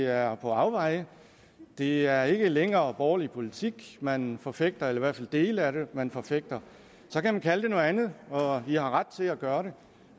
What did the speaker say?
er på afveje det er ikke længere borgerlig politik man forfægter eller i hvert fald dele af det man forfægter så kan man kalde det noget andet og det har man ret til at gøre